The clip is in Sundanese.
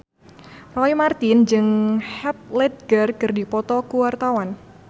Roy Marten jeung Heath Ledger keur dipoto ku wartawan